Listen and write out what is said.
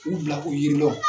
U bila u yiri lɔ